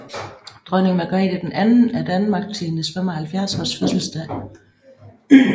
Dronning Margrethe II af Danmark til hendes 75 års fødselsdag